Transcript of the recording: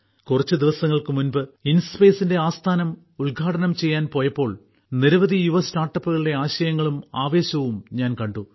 കുറച്ച് ദിവസങ്ങൾക്ക് മുമ്പ് ഇൻസ്പേസിന്റെ ആസ്ഥാനം ഉദ്ഘാടനം ചെയ്യാൻ പോയപ്പോൾ നിരവധി യുവ സ്റ്റാർട്ടപ്പുകളുടെ ആശയങ്ങളും ആവേശവും ഞാൻ കണ്ടു